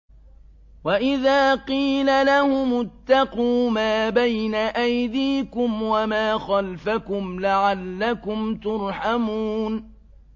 وَإِذَا قِيلَ لَهُمُ اتَّقُوا مَا بَيْنَ أَيْدِيكُمْ وَمَا خَلْفَكُمْ لَعَلَّكُمْ تُرْحَمُونَ